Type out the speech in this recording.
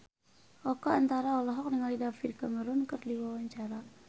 Oka Antara olohok ningali David Cameron keur diwawancara